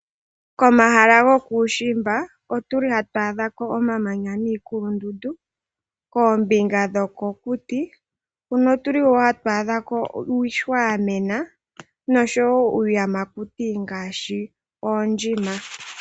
Komahala gokuushimba otuli hatu adha ko omamanya niikulundundu, koombinga dhokokuti huno otuli woo hatu adha ko iihwa yamena noshowo iiyamakuti ngaashi oondjima.